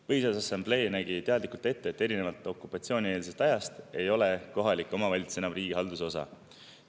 Põhiseaduse Assamblee nägi teadlikult ette, et erinevalt okupatsioonieelsest ajast ei ole kohalik omavalitsus enam riigihalduse osa.